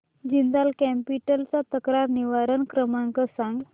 Jindal capital चा तक्रार निवारण क्रमांक सांग